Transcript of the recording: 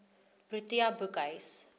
protea boekhuis